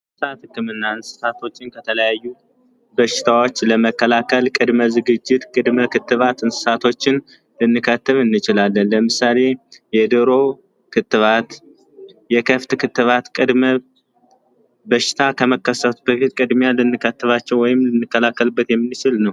እንስሳት ህክምና እና እንስሳቶችን ከተለያዩ በሽታዎች ለመከላከል ቅድመ ዝግጅት ቅድሚያ ክትባት እንስሳቶችን ልንከትብ እንችላለን። ለምሳሌ የዶሮ ክትባት፣ የከብት ክትባት በሽታ ከመከሰቱ በፊት ቅድሚያ ልንከትባቸው ወይም ልንከላከልበት የምንችል ነው።